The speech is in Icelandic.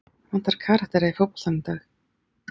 Vantar karaktera í fótboltann í dag?